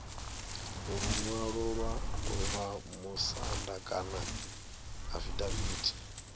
luṅwalo lwa vhamusanda kana afidaviti